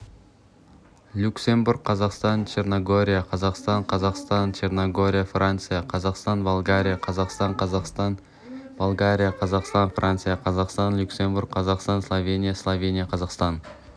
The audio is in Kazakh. люксембург қазақстан черногория қазақстан қазақстан черногория франция қазақстан болгария қазақстан қазақстан болгария қазақстан франция қазақстан люксембург қазақстан словения словения қазақстан